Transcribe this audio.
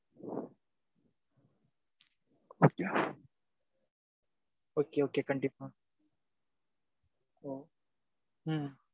Okay okay okay கண்டிப்பா, ஒ ம்